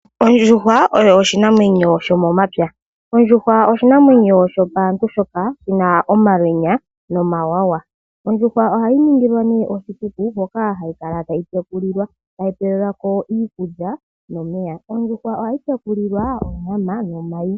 Ondjuhwa oshinanwenyo sho momapya. Oshinanwenyo shopaantu shoka shina omalwenya nomawawa. Ohayi ningilwa oshikuku hoka hayi kala tayi pewelwa ko iikulya nomeya. Ohayi tekulikwa onyama nomayi.